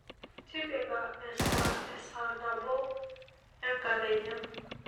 Tipika esaa e saa nabo enkakenya